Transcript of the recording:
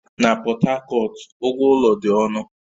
Na Pọt Hakọt, ụgwọ ụlọ dị ọnụ